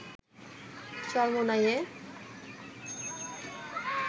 চরমোনাইয়ে